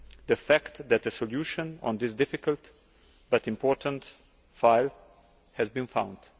the fact that a solution on this difficult, but important, file has been found.